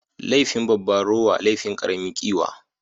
Laifin babba rowa, laifin ƙarami ƙiwa